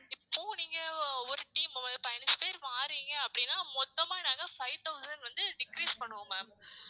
இப்போ நீங்க ஒரு team பதினஞ்சு பேர் வாரீங்க அப்படின்னா மொத்தமா நாங்க five thousand வந்து decrease பண்ணுவோம் ma'am